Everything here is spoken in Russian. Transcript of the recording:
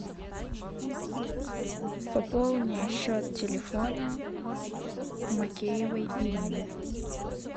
пополни счет телефона макеевой ирины